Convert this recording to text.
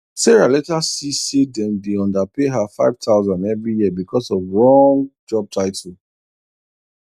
sarah later see say dem dey underpay her 5000 every year because of wrong job title